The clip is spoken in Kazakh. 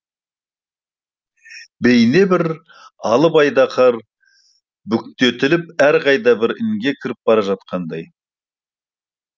бейне бір алып айдаһар бүктетіліп әлдеқайда бір інге кіріп бара жатқандай